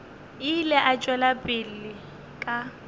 ile a tšwela pele ka